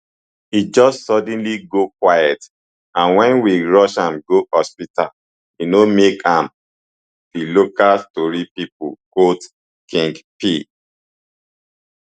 e just suddenly go quiet and wen we rush am go hospital e no make am di local tori pipo quote king pee